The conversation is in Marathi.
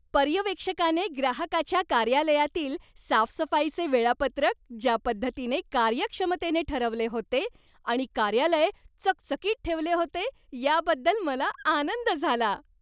पर्यवेक्षकाने ग्राहकाच्या कार्यालयातील साफसफाईचे वेळापत्रक ज्या पद्धतीने कार्यक्षमतेने ठरवले होते आणि कार्यालय चकचकीत ठेवले होते याबद्दल मला आनंद झाला.